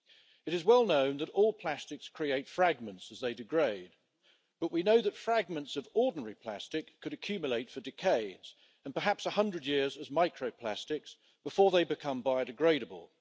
It is well known that all plastics create fragments as they degrade but we know that fragments of ordinary plastic could accumulate for decades, and perhaps for as long as 100 years as micro plastics, before they become biodegradable.